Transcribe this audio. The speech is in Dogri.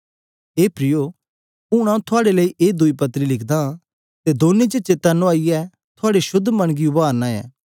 हे प्रियो हुन आऊँ थुआड़े ए दुई पत्री लिखदा हां अते दमै च सुधि दिलाईये थुआड़े शुद्ध मन गी उभारदा हां